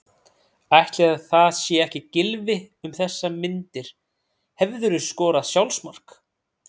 Ætli það sé ekki Gylfi um þessar myndir Hefurðu skorað sjálfsmark?